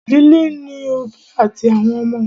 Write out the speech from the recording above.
Ìdílé ní òbí àti àwọn ọmọ.